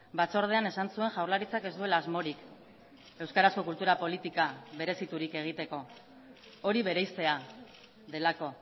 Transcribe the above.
batzordean esan zuen jaurlaritzak ez duela asmorik euskarazko kultura politika bereziturik egiteko hori bereiztea delako